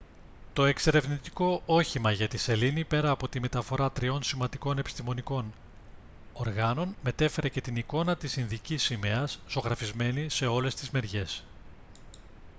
το εξερευνητικό όχημα για τη σελήνη πέρα από τη μεταφορά τριών σημαντικών επιστημονικών οργάνων μετέφερε και την εικόνα της ινδικής σημαίας ζωγραφισμένη σε όλες τις μεριές